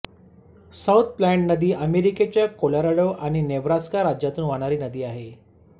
south Platte नदी अमेरिकेच्या Colorado आणि नेब्रास्का राज्यांतून वाहणारी नदी आहे